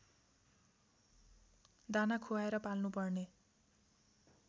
दाना खुवाएर पाल्नुपर्ने